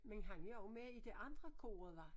Men han er jo også med i det andre koret hvad?